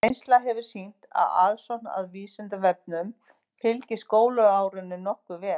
Reynslan hefur sýnt að aðsókn að Vísindavefnum fylgir skólaárinu nokkuð vel.